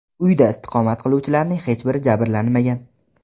Uyda istiqomat qiluvchilarning hech biri jabrlanmagan.